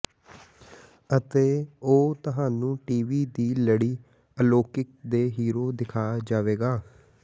ਅਤੇ ਉਹ ਤੁਹਾਨੂੰ ਟੀਵੀ ਦੀ ਲੜੀ ਅਲੌਕਿਕ ਦੇ ਹੀਰੋ ਦਿਖਾ ਜਾਵੇਗਾ